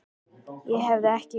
Ég hef ekkert breyst.